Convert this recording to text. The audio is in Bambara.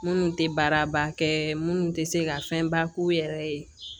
Minnu tɛ baaraba kɛ minnu tɛ se ka fɛnba k'u yɛrɛ ye